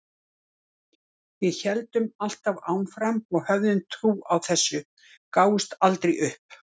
Við héldum alltaf áfram og höfðum trú á þessu, gáfumst aldrei upp.